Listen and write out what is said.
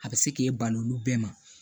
A bɛ se k'e bali olu bɛɛ ma